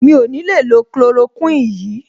Mi ò ní le lo chloroquine yìí.